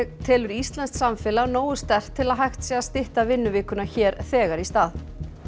telur íslenskt samfélag nógu sterkt til að hægt sé að stytta vinnuvikuna hér þegar í stað